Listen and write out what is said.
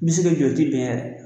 N bɛ se ki jɔ o bɛn yɛrɛ